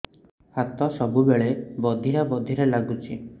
ହାତ ସବୁବେଳେ ବଧିରା ବଧିରା ଲାଗୁଚି